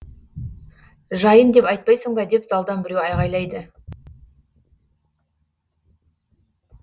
жайын деп айтпайсың ба деп залдан біреу айғайлайды